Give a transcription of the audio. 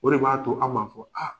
O de b'a to an b'a fɔ ko aa.